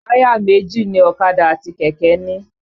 Táyà méjì ni ọ̀kadà àti kẹ̀kẹ́ ń ní.